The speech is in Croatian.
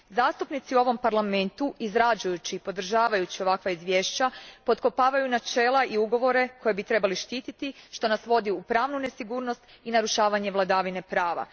Zastupnici u ovom Parlamentu izrađujući i podržavajući ovakva izvješća potkopavaju načela i ugovore koje bi trebali štiti što nas vodi u pravnu nesigurnost i narušavanje vladavine prava.